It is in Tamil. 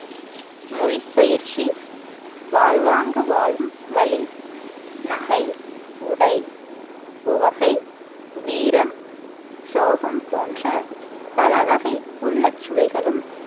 மொழி பயிற்சி, வாழ்வாங்கு வாழும் வழி, நகை, உடை, உவகை, வீரம், சோகம் போன்ற பல‌வகை உள்ளச் சுவைகளும்